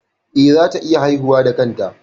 Eh, za ta iya haihuwa da kanta